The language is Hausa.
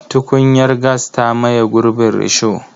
Tukunyar gas ta maye gurbin risho.